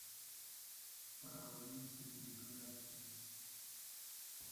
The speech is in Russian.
провалился в вентиляцию